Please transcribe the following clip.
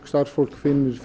starfsfólk finnur